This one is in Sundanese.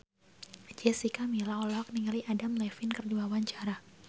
Jessica Milla olohok ningali Adam Levine keur diwawancara